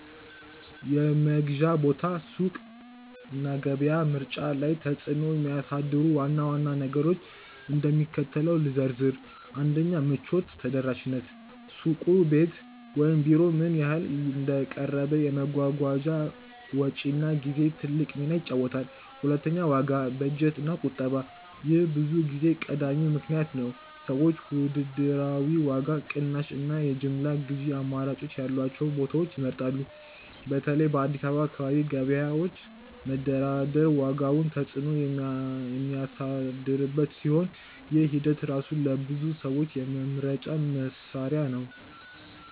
የመግዣ ቦታ (ሱቅ፣ ገበያ) ምርጫ ላይ ተጽዕኖ የሚያሳድሩ ዋና ዋና ነገሮችን እንደሚከተለው ልዘርዝር፦ 1. ምቾት ( ተደራሽነት):-ሱቁ ቤት ወይም ቢሮ ምን ያህል እንደቀረበ፣ የመጓጓዣ ወጪና ጊዜ ትልቅ ሚና ይጫወታል። 2. ዋጋ (በጀት እና ቁጠባ) :-ይህ ብዙ ጊዜ ቀዳሚው ምክንያት ነው። ሰዎች ውድድራዊ ዋጋ፣ ቅናሽ እና የጅምላ ግዢ አማራጮች ያሏቸውን ቦታዎች ይመርጣሉ። በተለይ በኢትዮጵያ የአካባቢ ገበያዎች መደራደር ዋጋውን ተጽዕኖ የሚያሳድርበት ሲሆን፣ ይህ ሂደት ራሱ ለብዙ ሰዎች የመምረጫ መስሪያ ነው።